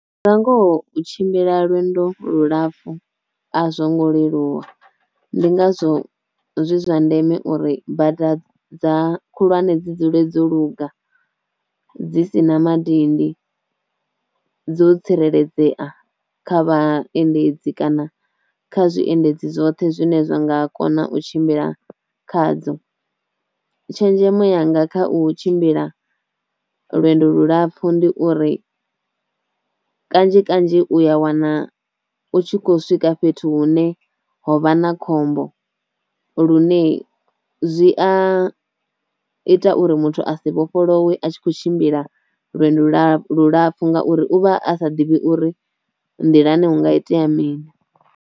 Nga ngoho u tshimbila lwendo lu lapfhu a zwo ngo leluwa, ndi ngazwo zwi zwa ndeme uri bada dza khulwane dzi dzule dzo luga, dzi si na madindi, dzo tsireledzea kha vhaendedzi kana kha zwiendedzi zwoṱhe zwine zwa nga kona u tshimbila khadzo, tshenzhemo yanga kha u tshimbila lwendo lulapfu ndi uri kanzhi kanzhi u ya wana u tshi kho swika fhethu hune ho vha na khombo lune zwi a ita uri muthu a si vhofholowe a tshi kho tshimbila lwendo lu lapfhu ngauri u vha a sa ḓivhi uri nḓilani hu nga itea mini.